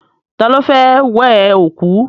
Ta ló fẹ́ wẹ òkú?